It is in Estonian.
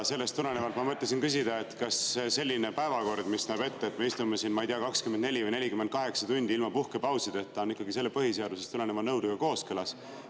Sellest tulenevalt ma mõtlesin küsida, kas selline päevakord, mis näeb ette, et me istume siin, ma ei tea, 24 või 48 tundi ilma puhkepausideta, on ikkagi selle põhiseadusest tuleneva nõudega kooskõlas.